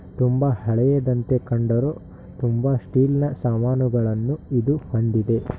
ತುಂಬಾ ಹಳೆಯದಂತೆ ಕಂಡರು ತುಂಬಾ ಸ್ಟೀಲ್ನ ಸಾಮಾನುಗಳನ್ನು ಇದು ಹೊಂದ್ದಿದೆ.